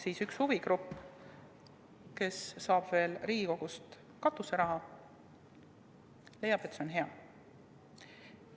Aga üks huvigrupp, kes saab veel Riigikogust katuseraha, leiab, et see on hea.